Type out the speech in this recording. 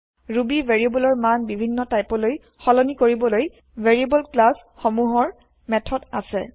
Ruby ভেৰিয়েব্লৰ মান বিভিন্ন টাইপলৈ সলনি কৰিবলৈ ভেৰিয়েব্ল ক্লাছ সমূহৰ মেঠদ আছে